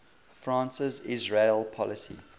france's israel policy